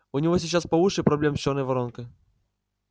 у него сейчас по уши проблем с чёрной воронкой